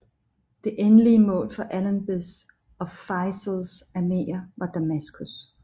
Det endelige mål for Allenbys og Feisals arméer var Damaskus